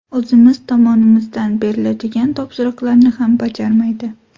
O‘zimiz tomonimizdan beriladigan topshiriqlarni ham bajarmaydi.